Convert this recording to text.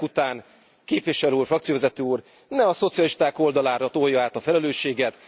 Ezek után képviselő úr, frakcióvezető úr, ne a szocialisták oldalára tolja át a felelősséget.